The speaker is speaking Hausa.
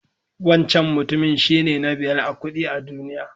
Wancan mutumin shine na biyar a kuɗi a duniya.